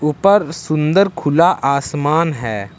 ऊपर सुंदर खुला आसमान है।